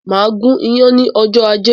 Màá gún iyán ní ọjọ́ ajé.